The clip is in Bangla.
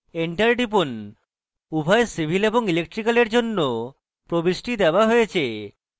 enter টিপুন উভয় civil এবং electrical এর জন্য প্রবিষ্টি দেওয়া হয়েছে